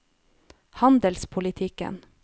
handelspolitikken